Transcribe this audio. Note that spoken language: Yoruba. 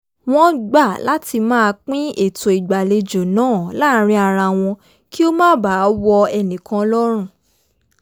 wọ́n gbà láti máa pin ètò ìgbàlejo náà láàárín ara wọn kí ó má baà wọ ẹ̀nìkan lọ́rùn